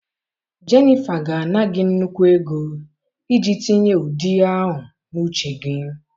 Jennifer ga-ana gị nnukwu ego iji tinye ụdị ahụ n'uche gị.